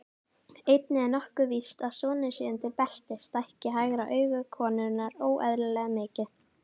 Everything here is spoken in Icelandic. Einnig er nokkuð víst að sonur sé undir belti, stækki hægra auga konunnar óeðlilega mikið.